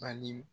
Bani